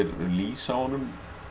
lýs á honum